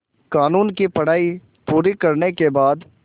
क़ानून की पढा़ई पूरी करने के बाद